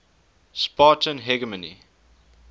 spartan hegemony